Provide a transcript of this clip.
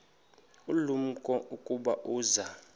ulumko ukuba uza